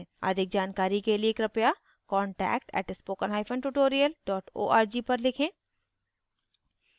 अधिक जानकारी के लिए कृपया contact @spokentutorial org पर लिखें